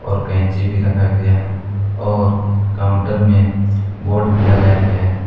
और कैंची भी रखा गया है और काउंटर में बोर्ड भी लगाया गया है।